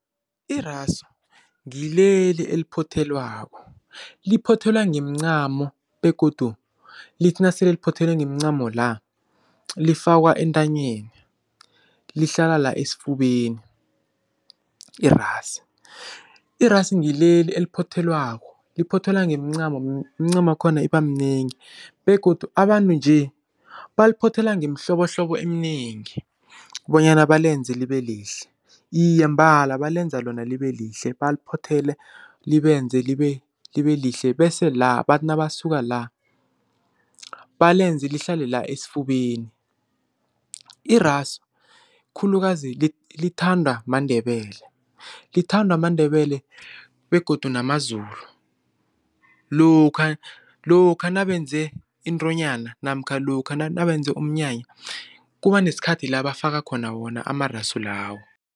Irasu ngileli eliphothelwako, liphothelwa ngeemcamo begodu lithi nasele liphothelwe ngeemcamo la lifakwa entanyeni. Lihlala la esifubeni irasu. Irasu ngileli eliphothelwako, liphothwelwa ngeemcamo iimcamakhona iba minengi begodu abantu nje, baliphothela ngemihlobohlobo eminengi bonyana balenze libe lihle. Iye mbala balenza lona liba lihle, baliphothele libenze libe lihle bese la, bathi nabasuka la, balenze lihlale la esifubeni. Irasu khulukazi lithandwa maNdebele, lithandwa maNdebele begodu namaZulu. Lokha lokha nabenze intonyana namkha lokha nabenze umnyanya kuba nesikhathi la bafaka khona wona amarasu lawo.